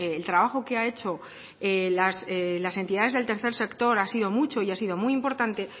el trabajo que ha hecho las entidades del tercer sector ha sido mucho y ha sido muy importante